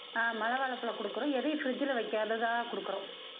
ஆஹ் மலை வாழைப்பழம் கொடுக்கிறோம் எதையும் fridge ல வைக்காததா கொடுக்கிறோம்